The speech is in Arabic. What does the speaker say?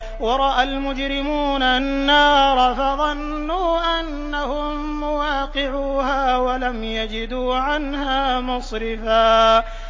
وَرَأَى الْمُجْرِمُونَ النَّارَ فَظَنُّوا أَنَّهُم مُّوَاقِعُوهَا وَلَمْ يَجِدُوا عَنْهَا مَصْرِفًا